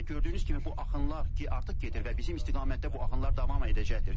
Və gördüyünüz kimi bu axınlar ki artıq gedir və bizim istiqamətdə bu axınlar davam edəcəkdir.